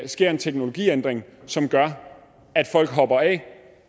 sker en teknologiændring som gør at folk hopper af